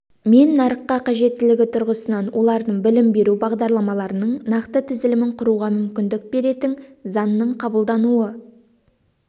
мен нарыққа қажеттілігі тұрғысынан олардың білім беру бағдарламаларының нақты тізілімін құруға мүмкіндік беретін заңның қабылдануы